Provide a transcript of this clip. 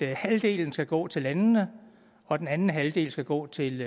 halvdelen skal gå til landene og at den anden halvdel skal gå til